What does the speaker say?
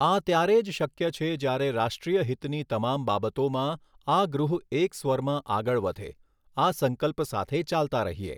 આ ત્યારે જ શક્ય છે જ્યારે રાષ્ટ્રીયહિતની તમામ બાબતોમાં, આ ગૃહ એક સ્વરમાં આગળ વધે, આ સંકલ્પ સાથે ચાલતા રહીએ.